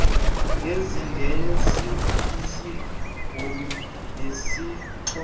ngesingesi isibhulu nesixhosa